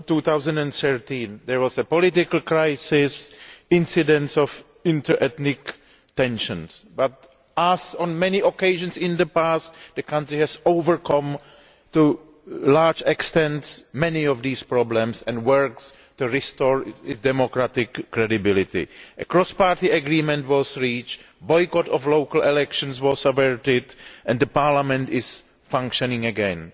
2013. There was a political crisis and incidents of inter ethnic tensions but, as on many occasions in the past, the country has overcome to a large extent many of these problems and is working to restore its democratic credibility. A cross party agreement was reached, a boycott of local elections was averted and the Parliament is functioning again.